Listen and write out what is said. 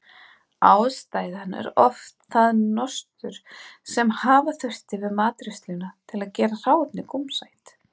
Ástæðan er oft það nostur sem hafa þurfti við matreiðsluna til að gera hráefnið gómsætt.